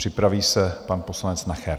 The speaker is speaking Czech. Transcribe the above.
Připraví se pan poslanec Nacher.